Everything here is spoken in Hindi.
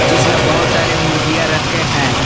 जिसमें बहुत सारे मुर्गियां रखे हैं।